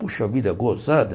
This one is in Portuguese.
Puxa vida, gozada.